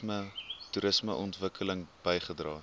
toerisme ontwikkeling bygedra